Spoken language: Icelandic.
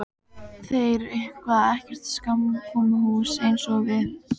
Þeir eiga ekkert samkomuhús eins og við.